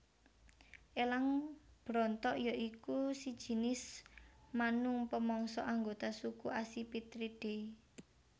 Elang Brontok ya iku sejinis manung pemangsa anggota suku Accipitridae